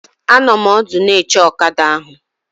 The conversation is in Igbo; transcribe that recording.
Anọ m ọdụ n'oche ọkada ahụ